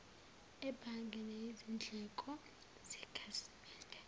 ebhange neyizindleko zekhasimende